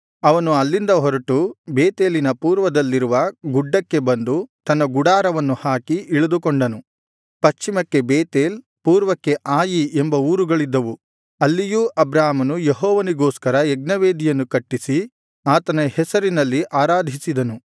ಅವನು ಅಲ್ಲಿಂದ ಹೊರಟು ಬೇತೇಲಿನ ಪೂರ್ವದಲ್ಲಿರುವ ಗುಡ್ಡಕ್ಕೆ ಬಂದು ತನ್ನ ಗುಡಾರವನ್ನು ಹಾಕಿ ಇಳಿದುಕೊಂಡನು ಪಶ್ಚಿಮಕ್ಕೆ ಬೇತೇಲ್ ಪೂರ್ವಕ್ಕೆ ಆಯಿ ಎಂಬ ಊರುಗಳಿದ್ದವು ಅಲ್ಲಿಯೂ ಅಬ್ರಾಮನು ಯೆಹೋವನಿಗೋಸ್ಕರ ಯಜ್ಞವೇದಿಯನ್ನು ಕಟ್ಟಿಸಿ ಆತನ ಹೆಸರಿನಲ್ಲಿ ಆರಾಧಿಸಿದನು ಸೈನ್ಯಾಧಿಪತಿ